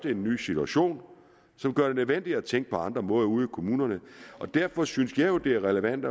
en ny situation som gør det nødvendigt at tænke på andre måder ude i kommunerne derfor synes jeg jo at det er relevant